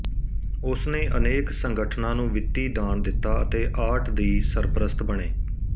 ਉਸਨੇ ਅਨੇਕ ਸੰਗਠਨਾਂ ਨੂੰ ਵਿੱਤੀ ਦਾਨ ਦਿੱਤਾ ਅਤੇ ਆਰਟ ਦੀ ਸਰਪ੍ਰਸਤ ਬਣੇ